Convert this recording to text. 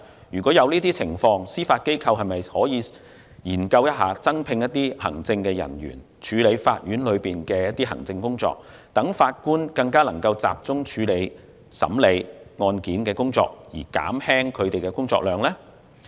若有這種情況，司法機構可否研究增聘行政人員，處理法院的行政工作，讓法官更能集中處理案件審理工作，從而減輕法官的工作量。